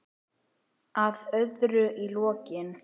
Að öðru í lokin.